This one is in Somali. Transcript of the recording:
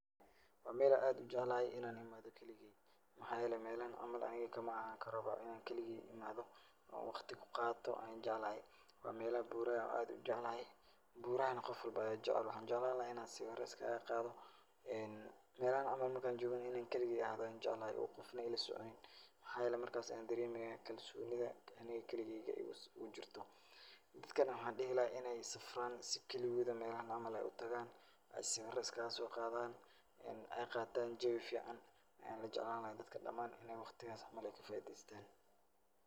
Waa meel aad u jeclahay inaan imaado keligay. Maxaa yeelay meelahay camal aniga kamaahaankaraba inaan keligay imaado oo wakhti ku qaato aan jeclahay. Waa meelo buura ah ann aad u jeclahay. Buurahana qof walbo ayaa jecel. Waxaan jeclaan lahaa inaan sawiro iskaga qaado. Meelahan camal marka aan joogana, inaan keligay ahaado ayaan jeclahay, qofna ila soconin. Maxaayeelay markas waxaan dareemeyaa kalsoonida anig keligayga igu jirto. Dadkana waxaan dhihi lahaa inay safraan si keligooda meelahan camal ay u tagaan sawiro iskaga soo qaadan ay qaataan jawi fiican. An jeclaan lahaa dadka dhamaan inay wakhtigas camal ay kafaideystaan.